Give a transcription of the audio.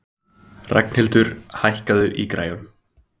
Ragnhildur, hækkaðu í græjunum.